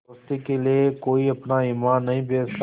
दोस्ती के लिए कोई अपना ईमान नहीं बेचता